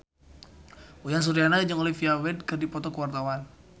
Uyan Suryana jeung Olivia Wilde keur dipoto ku wartawan